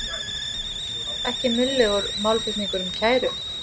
Ekki munnlegur málflutningur um kæru